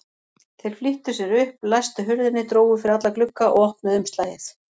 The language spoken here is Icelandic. Þeir flýttu sér upp, læstu hurðinni, drógu fyrir alla glugga og opnuðu umslagið.